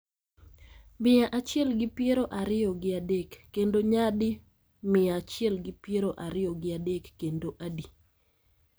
mia achiel gi piero ariyo gi adek kendo nyadi mia achiel gi piero ariyo gi adek kendo adi